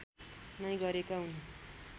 नै गरेका हुन्